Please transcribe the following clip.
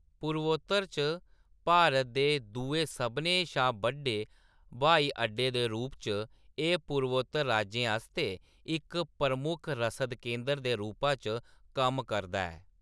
पूर्वोत्तर च भारत दे दुए सभनें शा बड्डे ब्हाई अड्डे दे रूप च, एह्‌‌ पूर्वोत्तर राज्यें आस्तै इक प्रमुख रसद केंदर दे रूपा च कम्म करदा ऐ।